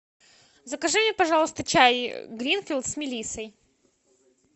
закажи мне пожалуйста чай гринфилд с мелиссой